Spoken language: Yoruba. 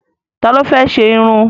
Ta ló fẹ́ ṣe irun?